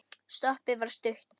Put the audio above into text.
Stoppið var stutt.